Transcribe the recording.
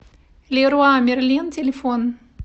леруа мерлен телефон